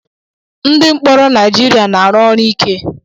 Ndị mkpọrọ Naịjirịa na-arụ ọrụ ike.